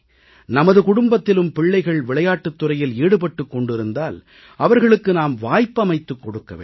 நமது குடும்பத்திலும் பிள்ளைகள் விளையாட்டுத் துறையில் ஈடுபட்டு கொண்டிருந்தால் அவர்களுக்கு நாம் வாய்ப்பமைத்துக் கொடுக்க வேண்டும்